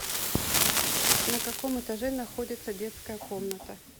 на каком этаже находится детская комната